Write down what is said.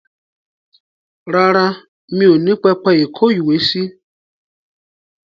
Rárá, mi ò ní pẹpẹ ìkówèésí.